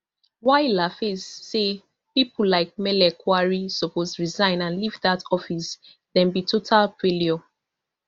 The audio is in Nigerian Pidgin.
while laface say pipo like mele kyari suppose resign and leave dat office dem be total failure